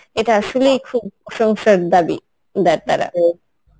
এটা আসলেই খুব প্রশংসার দাবিদার তারা